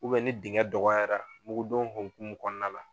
Ubɛ ni dingɛn dɔgɔyara mugudon homkumu kɔnɔna la